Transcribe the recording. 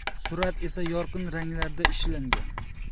Surat esa yorqin ranglarda ishlangan.